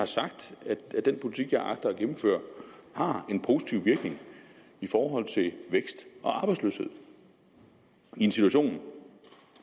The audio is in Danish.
sagt at den politik jeg agter at gennemføre har en positiv virkning i forhold til vækst og arbejdsløshed i en situation